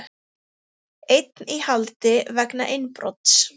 Einn í haldi vegna innbrots